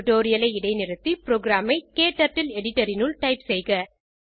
டுடோரியலை இடைநிறுத்தி புரோகிராம் ஐ க்டர்ட்டில் எடிட்டர் இனுள் டைப் செய்க